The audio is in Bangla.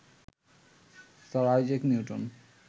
sir Isaac Newton